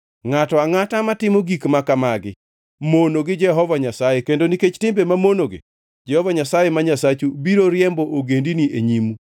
Ngʼato angʼata matimo gik ma kamagi mono gi Jehova Nyasaye kendo nikech timbe mamonogi Jehova Nyasaye ma Nyasachu biro riembo ogendini e nyimu.